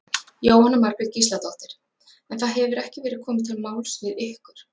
Jóhanna Margrét Gísladóttir: En það hefur ekki verið komið til máls við ykkur?